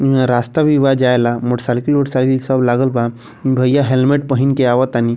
इहां रास्ता भी बा जाय ले मोटरसाइकिल उटरसाइकिल सब लागल बा भैया हेलमेट पहन के आवातानी ।